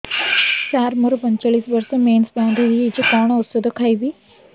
ସାର ମୋର ପଞ୍ଚଚାଳିଶି ବର୍ଷ ମେନ୍ସେସ ବନ୍ଦ ହେଇଯାଇଛି କଣ ଓଷଦ ଖାଇବି